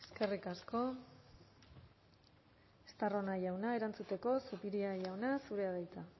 eskerrik asko estarrona jauna erantzuteko zupiria jauna zurea da hitza